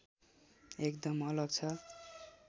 एकदम अलग छ